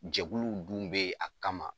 Jɛkuluw dun be yen a kama.